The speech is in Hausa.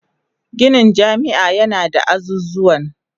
Ginin jami'a yana da azuzuwan